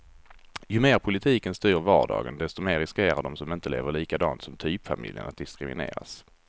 Ju mer politiken styr vardagen, desto mer riskerar de som inte lever likadant som typfamiljen att diskrimineras.